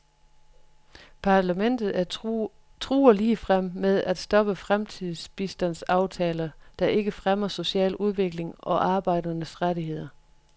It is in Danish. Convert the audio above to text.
Parlamentet truer ligefrem med at stoppe fremtidige bistandsaftaler, der ikke fremmer social udvikling og arbejdernes rettigheder.